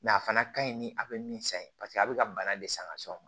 a fana ka ɲi ni a bɛ min san ye paseke a bɛ ka bana de san ka s'aw ma